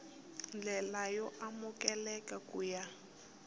ndlela yo amukeleka ku ya